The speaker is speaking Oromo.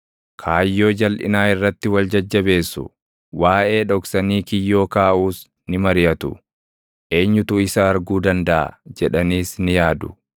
Kaayyoo jalʼinaa irratti wal jajjabeessu; waaʼee dhoksanii kiyyoo kaaʼuus ni mariʼatu; “Eenyutu isa arguu dandaʼa?” jedhaniis ni yaadu.